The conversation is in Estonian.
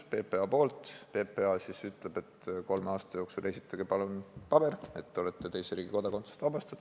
PPA ütleb, et kolme aasta jooksul esitage palun paber, mis kinnitaks, et te olete teise riigi kodakondsusest vabastatud.